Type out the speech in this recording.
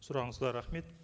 сұрағыңызға рахмет